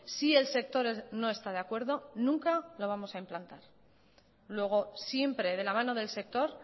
si el sector no está de acuerdo nunca lo vamos a implantar luego siempre de la mano del sector